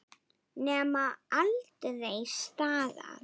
Nema aldrei staðar.